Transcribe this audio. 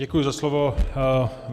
Děkuji za slovo.